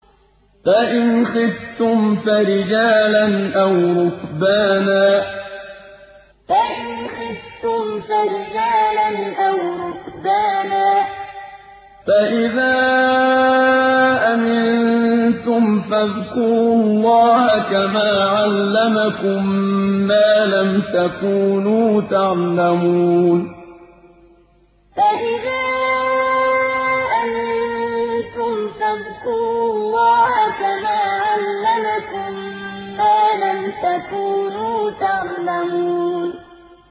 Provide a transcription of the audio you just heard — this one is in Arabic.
فَإِنْ خِفْتُمْ فَرِجَالًا أَوْ رُكْبَانًا ۖ فَإِذَا أَمِنتُمْ فَاذْكُرُوا اللَّهَ كَمَا عَلَّمَكُم مَّا لَمْ تَكُونُوا تَعْلَمُونَ فَإِنْ خِفْتُمْ فَرِجَالًا أَوْ رُكْبَانًا ۖ فَإِذَا أَمِنتُمْ فَاذْكُرُوا اللَّهَ كَمَا عَلَّمَكُم مَّا لَمْ تَكُونُوا تَعْلَمُونَ